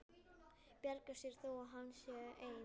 Bjargar sér þó að hann sé einn.